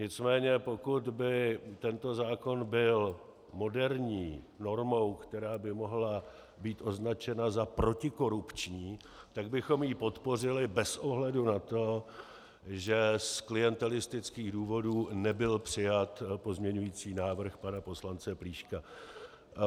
Nicméně pokud by tento zákon byl moderní normou, která by mohla být označena za protikorupční, tak bychom ji podpořili bez ohledu na to, že z klientelistických důvodů nebyl přijat pozměňující návrh pana poslance Plíška.